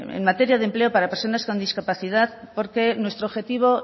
en materia de empleo para personas con discapacidad porque nuestro objetivo